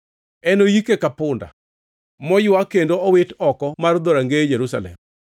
Enoyike ka punda, moywa kendo owit oko mar dhorangeye Jerusalem.”